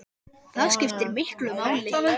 Það skiptir miklu máli.